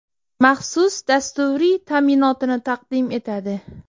maxsus dasturiy ta’minotini taqdim etadi.